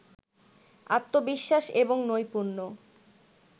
আত্নবিশ্বাস এবং নৈপূণ্য